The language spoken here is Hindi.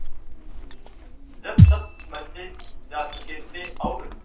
जब सब बच्चे जा चुके थे और